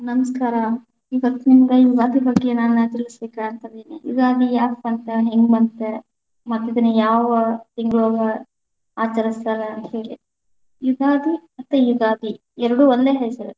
ನಮಸ್ಕಾರ, ಇವತ್ತ ನಿಮಗ ಯುಗಾದಿ ಬಗ್ಗೆ ನಾನ್‌ ತಿಳಸಬೇಕ ಅಂತ ಅದಿನಿ, ಯುಗಾದಿ ಯಾಕ ಬಂತ? ಹೆಂಗ ಬಂತ? ಮತ್ತ ಇದನ ಯಾವ ತಿಂಗಳೊಳಗ ಆಚರಸತಾರ? ಹೀಗೆ ಯುಗಾದಿ ಮತ್ತ ಉಗಾದಿ ಎರಡು ಒಂದೇ ಹೆಸರ.